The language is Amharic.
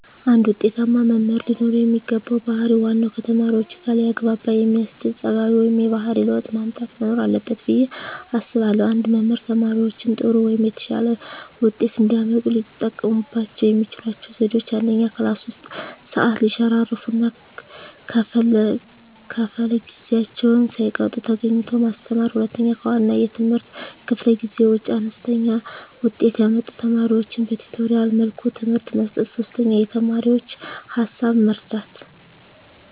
አንድ ውጤታማ መምህር ለኖረው የሚገባው ባህር ዋናው ከተማሪዎቹጋ ሊያግባባ የሚያስችል ፀባዩ ወይም የባህሪ ለውጥ ማምጣት መኖር አለበት ብየ አስባለሁ። አንድ መምህር ተማሪዎቻቸው ጥሩ ወይም የተሻለ ውጤት እንዲያመጡ ሊጠቀሙባቸው የሚችሏቸው ዘዴዎች፦ 1, ክላስ ውስጥ ሰዓት ሰይሸራርፍ እና ከፈለ ጊዜአቸውን ሳይቀጡ ተገኝተው ማስተማር። 2, ከዋና የትምህርት ክፍለ ጊዜ ውጭ አነስተኛ ውጤት ያመጡ ተማሪዎቻቸውን በቲቶሪያል መልኩ ትምህርት መስጠት። 3, የተማሪዎቻቸውን ሀሳብ መረዳት